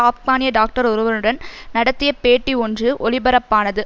ஆப்கானிய டாக்டர் ஒருவருடன் நடத்திய பேட்டி ஒன்று ஒலிபரப்பானது